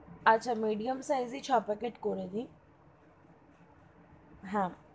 আচ্ছা medium size ই ছ packet করে দিন, হা,